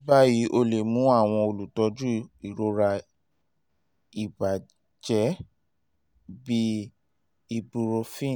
ni bayi o le mu awọn olutọju irora ibajẹ bii ibuprofen